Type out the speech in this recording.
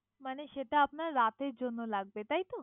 মানে সেটা আপনার রাতের জন্য লাগবে তাইতো।